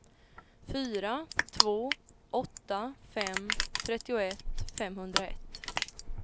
fyra två åtta fem trettioett femhundraett